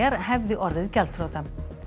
hefði orðið gjaldþrota